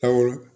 Awɔ